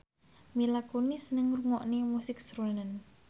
Mila Kunis seneng ngrungokne musik srunen